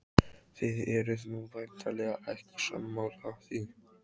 Þið eruð nú væntanlega ekki sammála því?